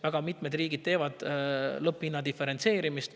Väga mitmed riigid teevad lõpphinna diferentseerimist.